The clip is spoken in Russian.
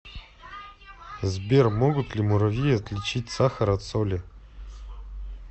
сбер могут ли муравьи отличить сахар от соли